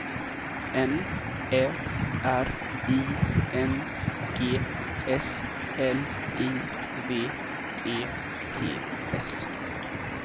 N Ä R I N G S L I V E T S